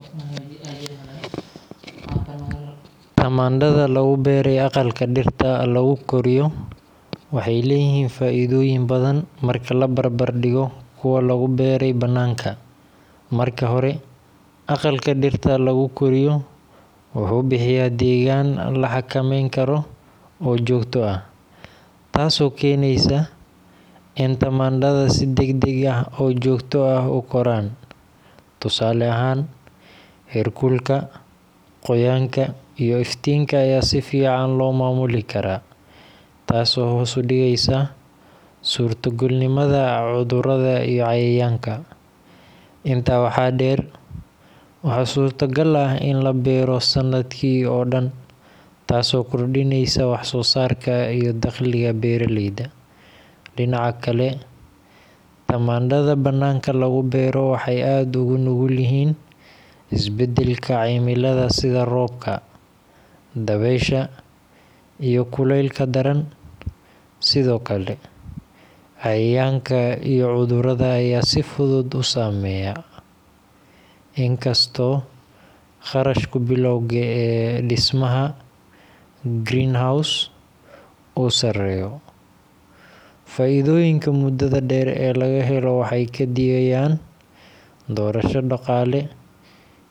Tamaandhada lagu beeray aqalka dhirta lagu koriyo waxay leeyihiin faa’iidooyin badan marka la barbar dhigo kuwa lagu beeray bannaanka. Marka hore, aqalka dhirta lagu koriyo wuxuu bixiyaa deegaan la xakameyn karo oo joogto ah, taasoo keenaysa in tamaandhada si degdeg ah oo joogto ah u koraan. Tusaale ahaan, heerkulka, qoyaanka, iyo iftiinka ayaa si fiican loo maamuli karaa, taasoo hoos u dhigaysa suurtogalnimada cudurrada iyo cayayaanka. Intaa waxaa dheer, waxaa suurtogal ah in la beero sanadkii oo dhan, taasoo kordhinaysa wax-soosaarka iyo dakhliga beeraleyda. Dhinaca kale, tamaandhada bannaanka lagu beero waxay aad ugu nugul yihiin isbeddelka cimilada sida roobka, dabaysha, iyo kuleylka daran. Sidoo kale, cayayaanka iyo cudurrada ayaa si fudud u saameeya. In kastoo kharashka bilowga ee dhismaha greenhouse uu sareeyo, faa’iidooyinka muddada dheer ee laga helo waxay ka dhigayaan doorasho dhaqaale.